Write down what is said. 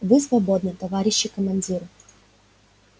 вы свободны товарищи командиры